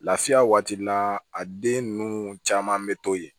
Lafiya waati la a den ninnu caman bɛ to yen